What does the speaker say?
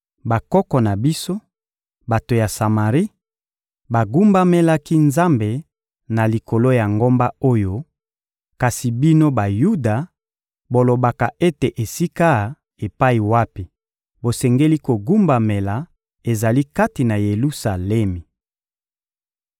Bakoko na biso, bato ya Samari, bagumbamelaki Nzambe na likolo ya ngomba oyo; kasi bino, Bayuda, bolobaka ete esika epai wapi tosengeli kogumbamela ezali kati na Yelusalemi.